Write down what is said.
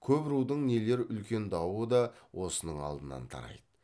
көп рудың нелер үлкен дауы да осының алдынан тарайды